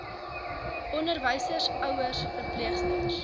onderwysers ouers verpleegsters